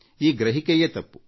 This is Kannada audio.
ಈ ಗ್ರಹಿಕೆಯೇ ತಪ್ಪು